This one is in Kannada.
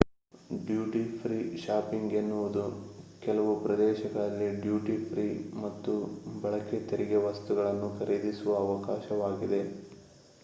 ಡ್ಯೂಟಿ-ಫ್ರೀ ಶಾಪಿಂಗ್ ಎನ್ನುವುದು ಕೆಲವು ಪ್ರದೇಶಗಳಲ್ಲಿ ಡ್ಯೂಟಿ-ಫ್ರೀ ಮತ್ತು ಬಳಕೆ ತೆರಿಗೆ ವಸ್ತುಗಳನ್ನು ಖರೀದಿಸುವ ಅವಕಾಶವಾಗಿದೆ